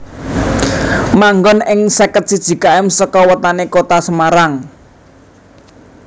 Manggon ing seket siji km saka wetane Kota Semarang